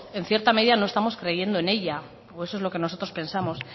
en cierta medida no estamos creyendo en ella o eso es lo que nosotros pensamos